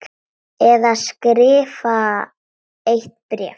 Eða skrifa eitt bréf?